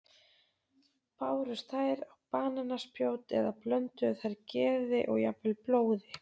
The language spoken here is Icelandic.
Bárust þær á banaspjót eða blönduðu þær geði og jafnvel blóði?